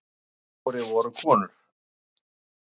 Hinir fjórir voru konur.